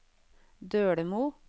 Dølemo